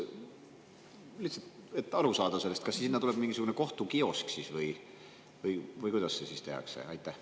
Lihtsalt, et sellest aru saada: kas sinna tuleb siis mingisugune kohtukiosk või kuidas see siis?